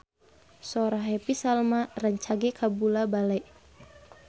Sora Happy Salma rancage kabula-bale